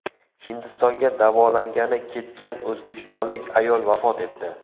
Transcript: Hindistonga davolangani ketgan o‘zbekistonlik ayol vafot etdi.